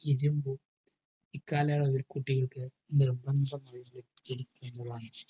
ഇരുമ്പ് ഈ കാലയളവിൽ കുട്ടികൾക്ക് നിർബന്ധമായി ലഭിച്ചിരിക്കേണ്ടതാണ്.